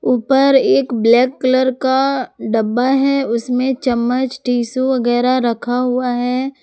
ऊपर एक black colour का डब्बा है उसमें चम्मच टिशु वगैरा रखा हुआ है।